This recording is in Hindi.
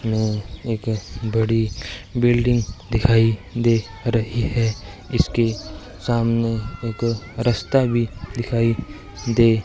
एक बड़ी बिल्डिंग दिखाई दे रही है इसके सामने एक रस्ता भी दिखाई दे --